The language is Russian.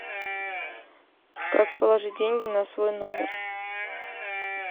как положить деньги на свой номер